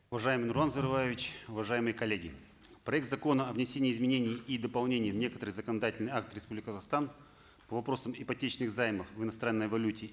уважаемый нурлан зайроллаевич уважаемые коллеги проект закона о внесении изменений и дополнений в некоторые законодательные акты республики казахстан по вопросам ипотечных займов в иностранной валюте